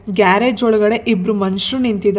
Garage ಒಳಗಡೆ ಇಬ್ರು ಮನುಷ್ಯರು ನಿಂತಿದ್ದಾರೆ.